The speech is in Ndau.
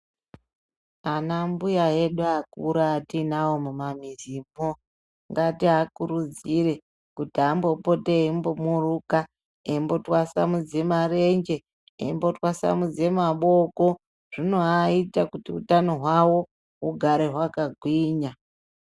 Anambuya edu akura atiinavo mumamizimwo ngatiakurudzire kuti ambopote eimbo muruka, eimbotwasamudze marenje, eimbo twasamudze maboko zvinoaita kuti utano hwavo hugare hwakagwinya.